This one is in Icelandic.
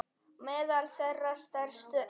Meðal þeirra stærstu eru